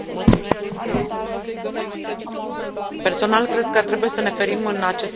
Personal, cred că trebuie să ne ferim în acest caz de judecățile din perspectivă unilaterală.